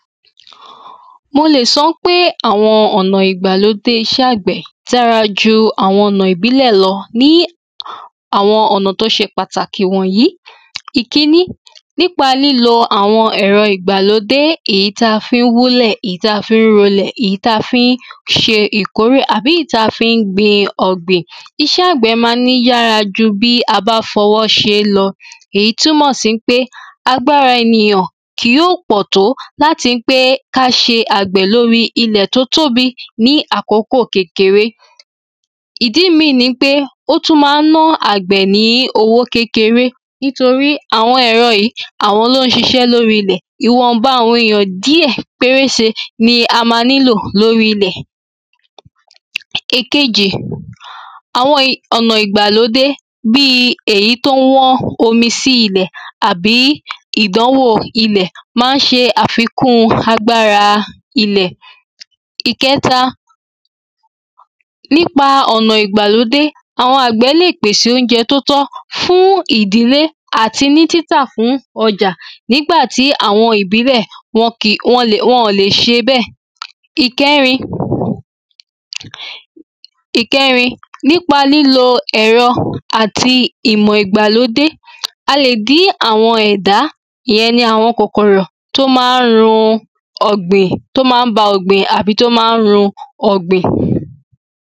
mo lè sọ pé àwọn ọ̀nà ìgbàlódé iṣẹ́ àgbẹ̀ dára ju àwọn ọ̀nà ìbílẹ̀ lọ, ní àwọn ọ̀nà tí ó ṣe pàtàkì wọ̀nyí ìkíní: lílo ẹ̀rọ ìgbàlódé èyí tá a fi ń wúlẹ̀, èyí tá a fi ń rolẹ̀, èyí tá a fi ń ṣe ìkórè, àbí èyí tí a fi ń ṣe ọ̀gbìn iṣẹ́ àgbẹ̀ ma ń yára ju bí a bá fọwọ́ ṣe é lọ èyí túnmọ̀ sí pé, agbára ènìyàn kì ó pọ̀ tó láti pé kí á ṣe àgbẹ̀ lóri ilẹ̀ tó tóbi ní àkókò kékeré ìdí míì ni wípé, ó tún ma ń ná àgbẹ̀ ní owó kékeré nítorí àwọn ẹ̀rọ yìí àwọn ló ń ṣiṣẹ́ lóri ilẹ̀ ìwọ̀nba àwọn èyàn díẹ̀ pérése ni a máa nílò lóri ilẹ̀ ìkejì, àwọn ọ̀nà bi èyí tó wọ́n omi si ilẹ̀, àbí ìdánwò ilẹ̀, ma ń ṣe àfikún agbára ilẹ̀ ìkẹta, nípa ọ̀nà ìgbàlódé àwọn àgbẹ̀ lè pèse óúnjẹ tó tọ́ fún ìdílé àti ní títà fún ọjà nígbàtí àwọn ìbílẹ̀ wọn ò lè ṣe bẹ́ẹ̀ ìkẹrin, nípa lílo ẹ̀rọ àti ìmọ̀ ìgbàlódé, a lè dí àwọn ẹ̀dá ìyẹn ni àwọn kòkòrò tó ma ń run ọ̀gbìn tó ma ń ba ọ̀gbìn tàbí tó ma ń run ọ̀gbìn.